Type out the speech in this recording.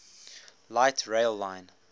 light rail line